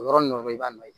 O yɔrɔnin dɔrɔn i b'a nɔ ye